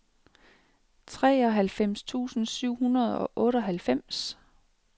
treoghalvfems tusind syv hundrede og otteoghalvfems